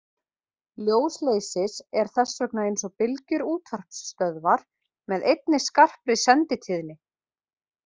Ljós leysis er þess vegna eins og bylgjur útvarpsstöðvar með einni skarpri senditíðni.